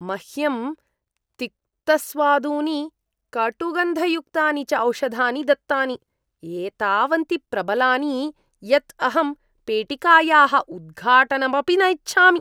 मह्यं तिक्तस्वादूनि कटुगन्धयुक्तानि च औषधानि दत्तानि, एतावन्ति प्रबलानि यत् अहं पेटिकायाः उद्घाटनम् अपि न इच्छामि।